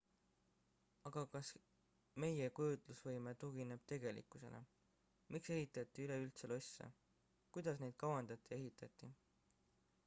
aga kas meie kujutlusvõime tugineb tegelikkusele miks ehitati üleüldse losse kuidas neid kavandati ja ehitati